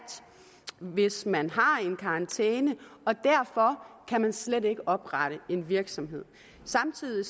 hvis man har karantæne og derfor kan man slet ikke oprette en virksomhed samtidig